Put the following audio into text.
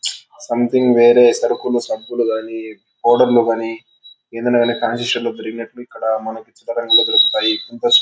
Something వేరే సరుకులు సబ్బులు గానీ ఆర్డర్ లు గానీ ఏదైనా గానీ ఫాన్సీ స్టోర్ లో దొరికినట్లు ఇక్కడ మనకి దొరుకుతాయి.